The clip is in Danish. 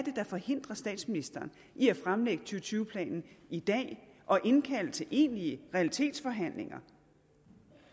der forhindrer statsministeren i at fremlægge to tyve planen i dag og indkalde til egentlige realitetsforhandlinger